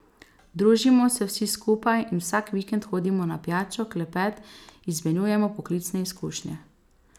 Družimo se vsi skupaj in vsak vikend hodimo na pijačo, klepet, izmenjujemo poklicne izkušnje.